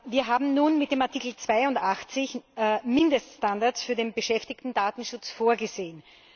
Wir haben nun mit dem Artikel82 Mindeststandards für den Beschäftigtendatenschutz vorgesehen.